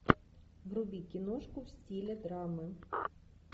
вруби киношку в стиле драмы